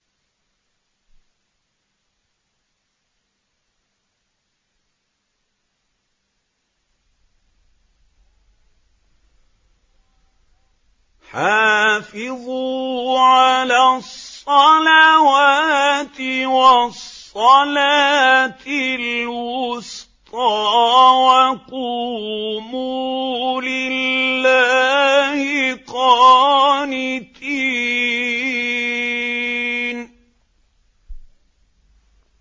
حَافِظُوا عَلَى الصَّلَوَاتِ وَالصَّلَاةِ الْوُسْطَىٰ وَقُومُوا لِلَّهِ قَانِتِينَ